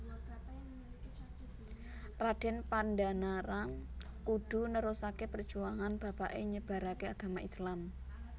Raden Pandanarang kudhu nerusake perjuangan bapake nyebarake agama Islam